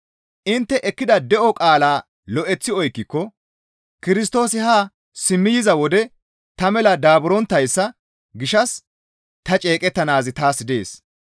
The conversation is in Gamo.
Intte ekkida de7o qaalaa lo7eththi oykkiko Kirstoosi haa simmi yiza wode ta mela daaburonttayssa gishshas ta ceeqettanaazi taas dees.